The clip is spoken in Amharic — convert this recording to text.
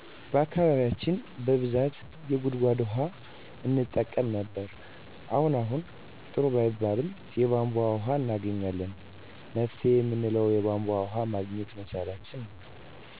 በአካባቢያችን በብዛት የጉድጎድ ውሀ እንጠቀም ነበር አሁን አሁን ጥሩ ባይባልም የቦንቦ ወሀ እናገኛለን መፍትሄ እምንለው የቦንቦ ወሀ ማግኘት መቻላችንን ነው